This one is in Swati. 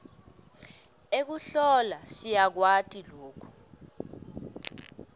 ekuhlola siyakwati loku